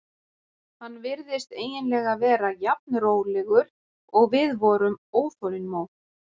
Hann virtist eiginlega vera jafn rólegur og við vorum óþolinmóð.